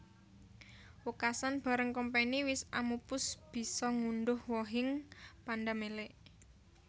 Wekasan bareng Kompeni wis amupus bisa ngundhuh wohing pandamelé